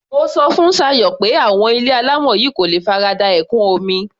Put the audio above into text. Mo sọ fún Ṣayọ̀ pé àwọn ilé alámọ̀ yìí kò lè farada ẹ̀kún omi.